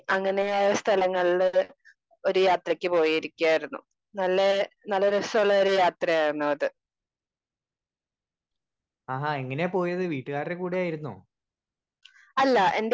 Speaker 2 അങ്ങനെയായ സ്ഥലങ്ങളില് ഒര്‌ യാത്രക്ക് പോയേക്കായിരിന്നു. നല്ലേ നല്ല രസോള്ള യാത്രയായിരുന്നു അത്. അല്ല എന്റെ